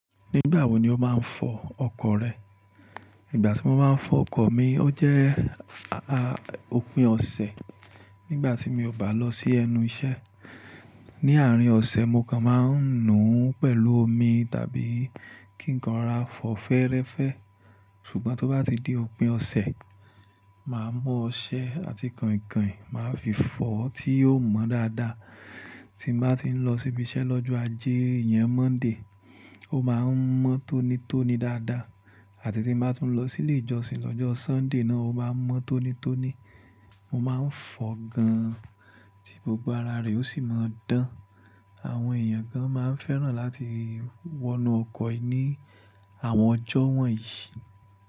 Nígbà wo ni o máa ń fọ ọkọ̀ rẹ? Ìgbà tí mo máa ń fọ ọkọ̀ mi, ó jẹ́, a, opin ọ̀sẹ̀ nígbà tí mi ò bá lọ sí ẹnu iṣẹ́. Ni àárín ọ̀sẹ̀ mo kan máa ń nu pẹ̀lú omi tàbí kí nǹkan rà fọ́ fẹ́ẹ́rẹ́fẹ́. Ṣùgbọ́n tó bá ti di òpin ọ̀sẹ̀, màá mu ọṣẹ àti kàinkàin màá fi fọ tí yóò mọ́ dáadáa. Tí n bá ti ń lọ síbi iṣẹ́ lọ́jọ́ ajé iyẹn, Monday, ó máa ń mọ́ tónítóní dáadáa àti tí n bá tún lọ sí ilé ìjọsìn lọ́jọ́ Sunday náà ó máa n mọ́ tónítóní. Mo máa ń fọ gan tí gbogbo ara rẹ̀ ó sì máa dán. Àwọn èèyàn kan máa ń fẹ́ràn láti wọnú ọkọ̀ ní àwọn ọjọ́ wọ̀nyí.